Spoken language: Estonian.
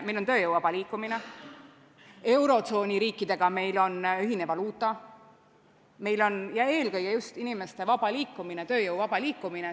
Meil on tööjõu vaba liikumine, meil on eurotsooni riikidega ühine valuuta ja eelkõige just inimeste vaba liikumine.